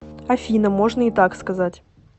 афина можно и так сказать